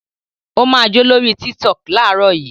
Ó máa jó lórí Tiktok láàárọ̀ yìí!